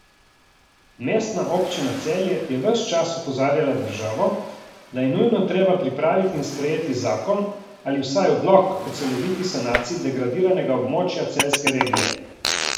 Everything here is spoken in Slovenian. Mestna občina Celje je ves čas opozarjala državo, da je nujno treba pripraviti in sprejeti zakon ali vsaj odlok o celoviti sanaciji degradiranega območja celjske regije.